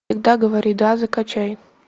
всегда говори да закачай